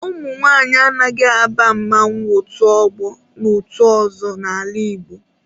Ụmụnwaanyị anaghị aba mmanwụ, otu ọgbọ na otu ozo n'ala Igbo